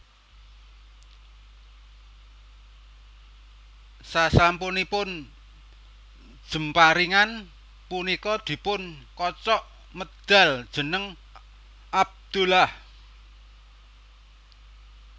Sasampunipun jemparingan punika dipun kocok medhal jeneng Abdullah